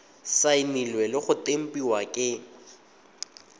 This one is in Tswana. saenilwe le go tempiwa ke